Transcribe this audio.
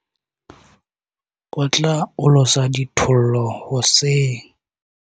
o tla olosa dithollo hoseng